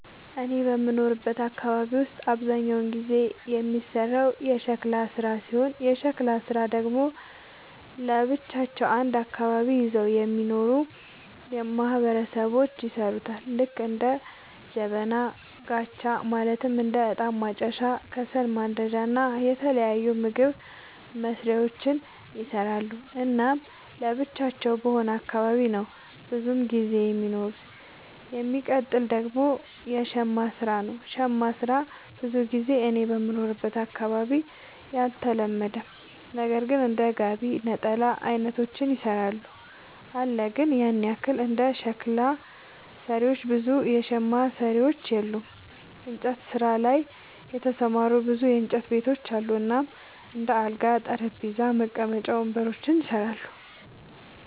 እኔ በምኖርበት አካባቢ ውስጥ አብዛኛውን ጊዜ የሚሰራው የሸክላ ስራ ሲሆን የሸክላ ስራ ደግሞ ለብቻቸው አንድ አካባቢን ይዘው የሚኖሩ ማህበረሰቦች ይሠሩታል ልክ እንደ ጀበና፣ ጋቻ ማለትም እንደ እጣን ማጨሻ፣ ከሰል ማንዳጃ እና የተለያዩ ምግብ መስሪያዎችን ይሰራሉ። እናም ለብቻቸው በሆነ አካባቢ ነው ብዙም ጊዜ የሚኖሩት። የሚቀጥል ደግሞ የሸማ ስራ ነው, ሸማ ስራ ብዙ ጊዜ እኔ በምኖርበት አካባቢ አልተለመደም ነገር ግን እንደ ጋቢ፣ ነጠላ አይነቶችን ይሰራሉ አለ ግን ያን ያህል እንደ ሸክላ ሰሪዎች ብዙ የሸማ ሰሪዎች የሉም። እንጨት ስራ ላይ የተሰማሩ ብዙ የእንጨት ቤቶች አሉ እናም እንደ አልጋ፣ ጠረጴዛ፣ መቀመጫ ወንበሮችን ይሰራሉ።